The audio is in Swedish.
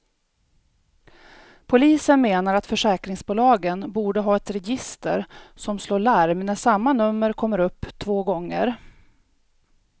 Polisen menar att försäkringsbolagen borde ha ett register som slår larm när samma nummer kommer upp två gånger.